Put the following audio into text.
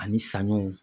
Ani saɲɔw